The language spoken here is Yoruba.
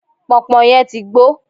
pọnpọn yẹn ti gbó